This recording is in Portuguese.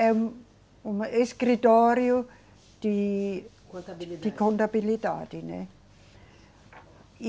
É um, um escritório de. Contabilidade. De contabilidade, né? E